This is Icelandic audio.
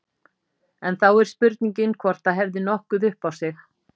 En þá er spurningin hvort það hefði nokkuð upp á sig.